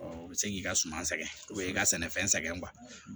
o bɛ se k'i ka suma sɛgɛn o bɛ i ka sɛnɛfɛn sɛgɛn